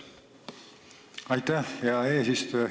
Aitäh, hea eesistuja!